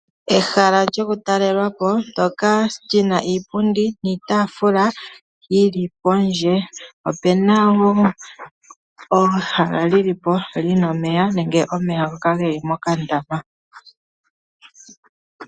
Ehala lyokutalelwa po ndyoka li na iipundi niitaafula yi li pondje. Opu na wo ehala li li po li na omeya nenge omeya ngoka ge li mokandama.